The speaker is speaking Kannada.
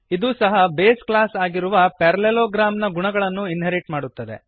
ಇದೂ ಸಹ ಬೇಸ್ ಕ್ಲಾಸ್ ಆಗಿರುವ ಪ್ಯಾರಲೆಲೋಗ್ರಾಮ್ ನ ಗುಣಗಳನ್ನು ಇನ್ಹೆರಿಟ್ ಮಾಡುತ್ತದೆ